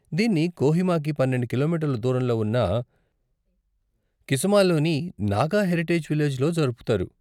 దీన్ని కోహిమాకి పన్నెండు కిలోమీటర్ల దూరంలో ఉన్న కిసమాలోని నాగా హెరిటేజ్ విలేజ్లో జరుపుతారు.